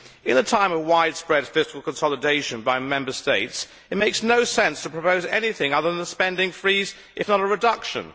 In a time of widespread fiscal consolidation by Member States, it makes no sense to propose anything other than a spending freeze, if not a reduction.